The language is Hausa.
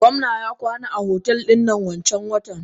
Gomna ya kwana a otel dinnan wanncan watan.